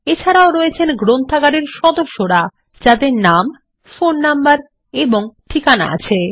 এছাড়াও রয়েছেন গ্রন্থাগারের সদস্যরা যাদের নাম ফোন নম্বর ও ঠিকানা আছে